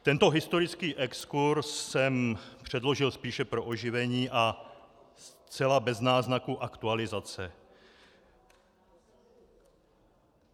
Tento historický exkurz jsem předložil spíše pro oživení a zcela bez náznaku aktualizace.